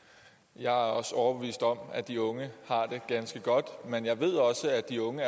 jeg er også overbevist om at de unge har det ganske godt men jeg ved at de unge